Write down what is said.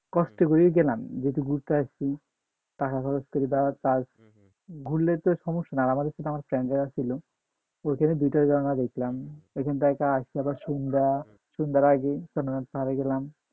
কষ্ট করে গেলাম যেহেতু ঘুরতে আসছি টাকা খরচ করে ঘুরলে তো কোন সমস্যা না আমার সাথে আমার কেন ব্রাগার ছিল ওইখানে দুইটা ঝরনা দেখেছিলাম এখান থেকে আইসা আবার সন্ধ্যা সন্ধ্যার আগে